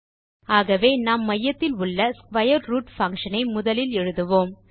ஆகவே நாம் மையத்தில் உள்ள ஸ்க்வேர் ரூட் பங்ஷன் ஐ முதலில் எழுதுவோம்